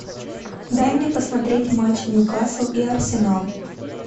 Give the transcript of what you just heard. дай мне посмотреть матч ньюкасл и арсенал